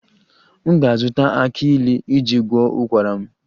M ga-azụta aki ilu iji gwọọ ụkwara m